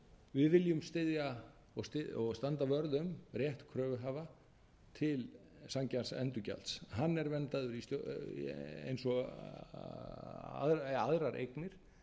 við viljum styðja og standa vörð um rétt kröfuhafa til sanngjarns endurgjalds hann er verndaður eins og aðrar eignir